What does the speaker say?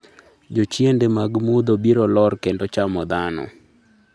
jochiende mag mudho biro lor kendo chamo dhano